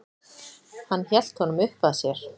Hann hélt honum uppað sér.